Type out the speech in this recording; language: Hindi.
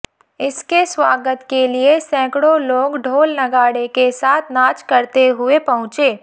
इसके स्वागत के लिये सैकड़ों लोग ढोल नगाड़े के साथ नाच करते हुए पहुंचे